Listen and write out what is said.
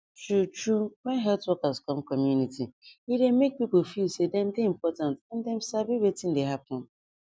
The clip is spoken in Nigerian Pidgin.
truetrue when health workers come community e dey make people feel say dem dey important and dem sabi wetin dey happen